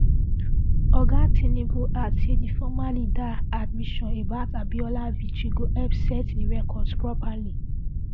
oga tinubu add say di former leader admission about abiola victory go help set di records properly